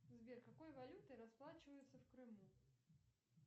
сбер какой валютой расплачиваются в крыму